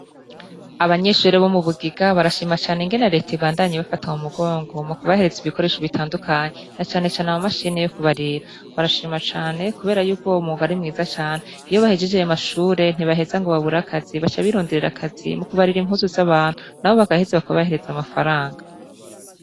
Abanyeshure bo mu bugiga barashima cane ingene leta ibandanyi bafata mu mugongo mu kubahereza ibikoresho bitandukanyi na canecane amu mashini yo kubarira barashimacane, kubera yuko uwo mugari mwiza cane iyo bahejijeye mashure ntibaheza ngo baburakazi basa bironderera akazi mu kubarira impuzu z'abantu na bo bagaheze bakabahereza amafaranka.